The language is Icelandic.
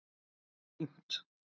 Bara fínt